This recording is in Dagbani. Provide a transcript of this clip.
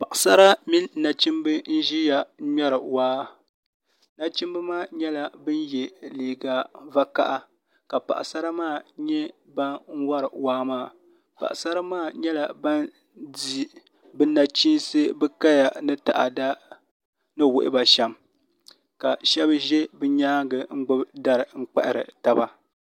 Paɣasara mini nachimbi n ʒiya n wori waa nachimbi maa nyɛla bin yɛ liiga vakaɣa ka paɣasara maa nyɛ ban wori waa maa paɣasara maa nyɛla ban di bi nachiinsi bi kaya ni taada ni wuhuba shɛm ka shab ʒɛ bi nyaangi n gbubi dari n kpahari taba